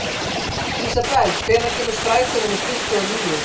Ísabel, hvenær kemur strætó númer tuttugu og níu?